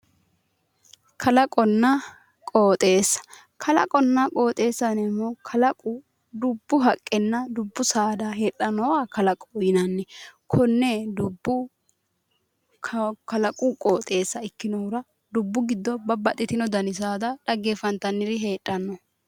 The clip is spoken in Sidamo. Kalaqonna qooxeessa, kalaqonna qooxeessa yineemmohu kalaqu dubbu haqqenna dubbu saada heedhannowa kalaqoho yinanni konne dubbu kalaqu qooxeessa ikkinohura dubbu giddo babbaxxitino dani saada dhaggeenfantanniri heedhanno